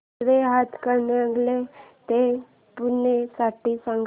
railway Hatkanangale ते पुणे साठी सांगा